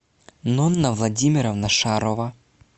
нонна владимировна шарова